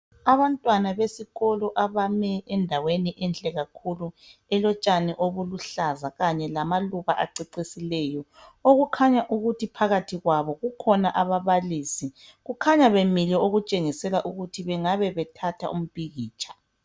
Abantwana besikolo abame endaweni enhle kakhulu elotshani obuluhlaza kanye lamaluba acecisileyo okukhanya ukuthi phakathi kwabo kukhona ababalisi kukhanya bemile okutshengisela ukuthi bengabe bethatha umpikitsha.